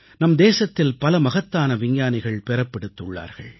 நம் தேசத்தில் பல மகத்தான விஞ்ஞானிகள் பிறப்பெடுத்துள்ளார்கள்